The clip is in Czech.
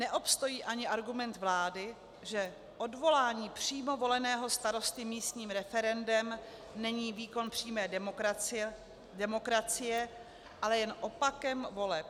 Neobstojí ani argument vlády, že odvolání přímo voleného starosty místním referendem není výkon přímé demokracie, ale jen opakem voleb.